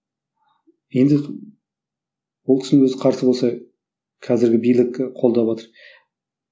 енді ол кісінің өзі қарсы болса қазіргі билік і қолдап отыр